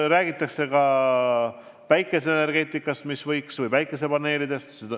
Räägitakse ka päikeseenergeetikast, päikesepaneelidest.